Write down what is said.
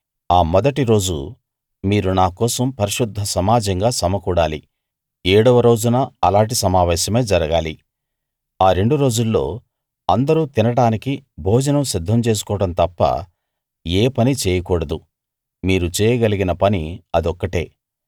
ఆ మొదటి రోజు మీరు నా కోసం పరిశుద్ధ సమాజంగా సమకూడాలి ఏడవ రోజున అలాటి సమావేశమే జరగాలి ఆ రెండు రోజుల్లో అందరూ తినడానికి భోజనం సిద్ధం చేసుకోవడం తప్ప ఏ పనీ చేయకూడదు మీరు చేయగలిగిన పని అదొక్కటే